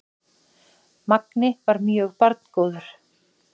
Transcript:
Mangi var mjög barngóður.